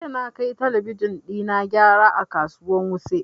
Jiya na kai talabijin ɗina gyara a kasuwan wuse